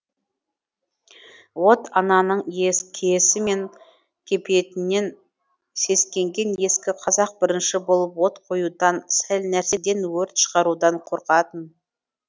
от ананың киесі мен кепиетінен сескенген ескі қазақ бірінші болып от қоюдан сәл нәрседен өрт шығарудан қорқатын